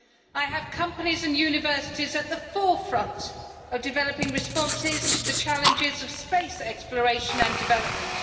I have companies and universities at the forefront of developing responses to the challenges of space exploration and development.